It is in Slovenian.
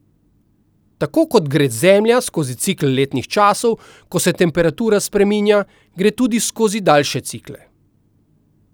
Tako kot gre zemlja skozi cikel letnih časov, ko se temperatura spreminja, gre tudi skozi daljše cikle.